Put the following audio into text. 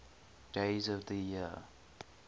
days of the year